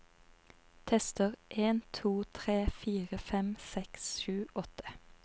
Tester en to tre fire fem seks sju åtte